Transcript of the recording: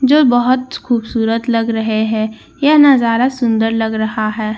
जो बहुत खूबसूरत लग रहे हैं ये नजारा सुंदर लग रहा हैं --